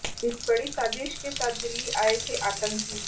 इस बड़ी साजिश के साथ दिल्ली आए थे आतंकी